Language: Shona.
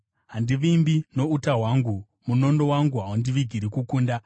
Handivimbi nouta hwangu, munondo wangu haundivigiri kukunda;